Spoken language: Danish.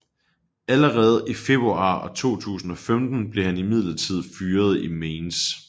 Allerede i februar 2015 blev han imidlertid fyret i Mainz